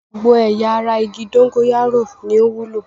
Gbogbo ẹ̀ya ara igi dógóyárò ni ó wúlò.